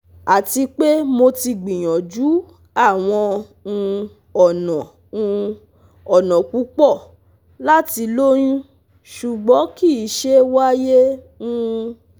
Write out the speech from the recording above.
Ati pe Mo ti gbiyanju awọn um ọna um ọna pupọ lati loyun ṣugbọn kii ṣe waye um